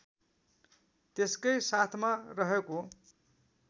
त्यसकै साथमा रहेको